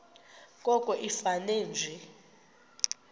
koko ifane nje